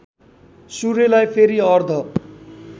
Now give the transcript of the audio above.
सूर्यलाई फेरि अर्घ